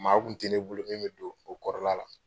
Maa kun te ne bolo min be do o kɔrɔla la.